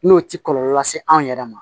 N'o tɛ kɔlɔlɔ lase an yɛrɛ ma